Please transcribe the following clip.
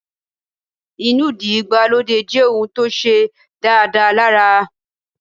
Inúdí ìgbàlódé jẹ́ ohùn tó ṣe dáadáa lára